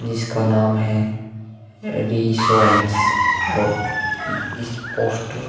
जिसका नाम है और इस पोस्टर --